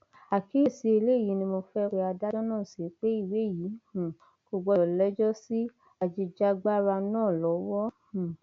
àkíyèsí eléyìí ni mo fẹẹ pe adájọ náà sí pé ìwé yìí um kò gbọdọ lẹjọ sí ajìjàgbara náà lọwọ um